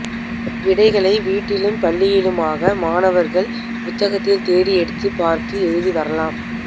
விடைகளை வீட்டிலும் பள்ளியிலுமாக மாணவர்கள் புத்தகத்தில் தேடி எடுத்துப் பார்த்து எழுதி வரலாம்